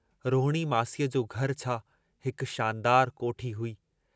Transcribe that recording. रोहणीअ मासीअ जो घर छा हिक शानदार कोठी हुई।